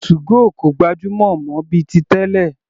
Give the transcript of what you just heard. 2go kò gbajúmọ̀ mọ́ bíi ti tẹ́lẹ̀.